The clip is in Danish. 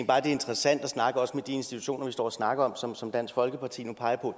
bare det er interessant at snakke med de institutioner vi står og snakker om og som dansk folkeparti nu peger